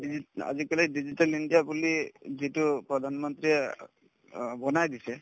digit আজিকালি digital India বুলি যিটো প্ৰধানমন্ত্ৰীয়ে অ বনাই দিছে